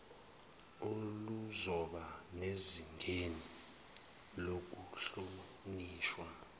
oluzoba sezingeni lokuhlonishwa